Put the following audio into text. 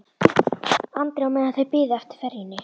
Andri á meðan þau biðu eftir ferjunni.